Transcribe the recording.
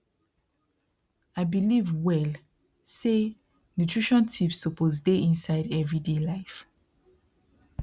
i believe well say nutrition tips suppose dey inside everyday life